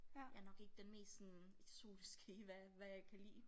Jeg nok ikke den mest sådan eksotiske i hvad hvad jeg kan lide